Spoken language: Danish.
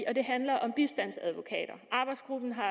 og det handler om bistandsadvokater arbejdsgruppen har